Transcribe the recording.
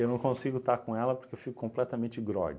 Eu não consigo estar com ela porque eu fico completamente grogue